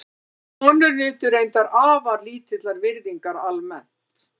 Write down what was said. Konur nutu reyndar afar lítillar virðingar almennt.